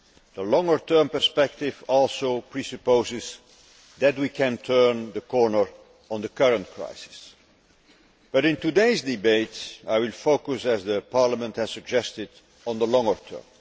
The longer term perspective also presupposes that we can turn the corner on the current crisis, but in today's debate I will focus, as Parliament has suggested, on the longer term.